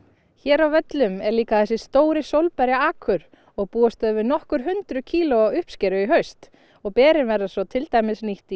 hér á völlum er líka þessi stóri sólberja akur og búast þau við nokkur hundruð kílóa uppskeru í haust og berin verða svo til dæmis nýtt í